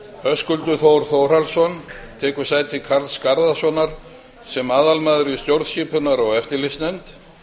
höskuldur þór þórhallsson taki sæti karls garðarssonar sem aðalmaður í stjórnskipunar og eftirlitsnefnd